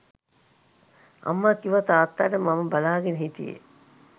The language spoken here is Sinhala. අම්මා කීවා තාත්තාට මම බලාගෙන හිටියේ